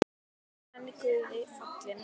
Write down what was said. Verði hann Guði falinn.